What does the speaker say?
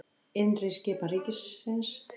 Innri skipan ríkisins